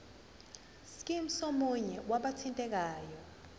scheme somunye wabathintekayo